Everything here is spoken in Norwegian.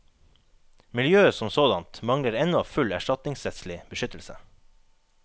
Miljøet som sådant mangler ennå full erstatningsrettslig beskyttelse.